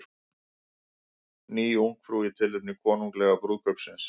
Ný Ungfrú í tilefni konunglega brúðkaupsins